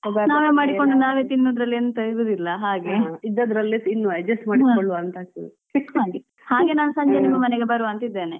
ನಾವೇ ಮಾಡಿಕೊಂಡು ನಾವೇ ತಿನ್ನುವುದ್ರಲ್ಲಿ ಎಂತ ಇರುದಿಲ್ಲಾ ಹಾಗೆ ಹಾಗೆ ನಾನು ಸಂಜೆ ನಿಮ್ಮ ಮನೆಗೆ ಬರುವಂತ ಇದೇನೆ.